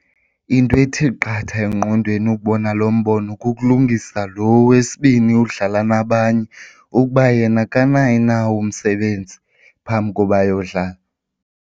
Into ethi qatha engqondweni ukubona lo mbono kukulungisa lo wesibini odlala nabanye ukuba yena akanawo na umsebenzi phambi koba yodlala.